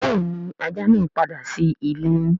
Béèni ajá naa pàdà sí ìlé.